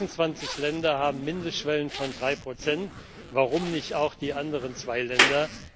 26 Länder haben Mindestschwellen von 3 Prozent warum nicht auch die anderen zwei Länder?